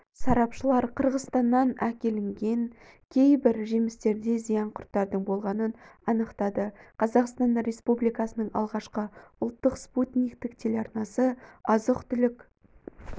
сарапшылар қырғызстаннан әкелген кейбір жемістерде зиян құрттардың болғанын анықтады қазақстан республикасының алғашқы ұлттық спутниктік телеарнасы азық-түлік